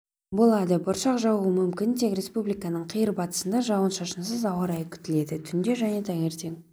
болады бұршақ жаууы мүмкін тек республиканың қиыр батысында жауын-шашынсыз ауа райы күтіледі түнде және таңертең